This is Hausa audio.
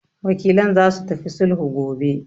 Wakilan zasu tafi sulhu gobe.